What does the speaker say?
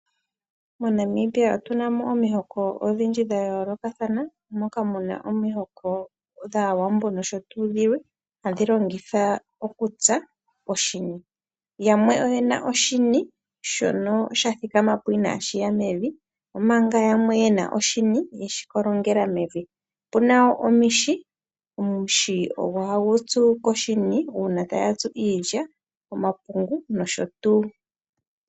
MoNamibia otu na mo omihoko odhindji dha yoolokathana moka muna omihoko dhaawambo nosho tuu dhilwe hadhi longitha okutsa poshini. Yamwe oye na oshini shathikama mo ina shiya mevi omanga yamwe yena oshini yeshikolongela mevi, opu na wo omuhi dho haya tsu koshini uuna ta tsu iilya omapungu nayilwe.